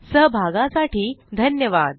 सहभागासाठी धन्यवाद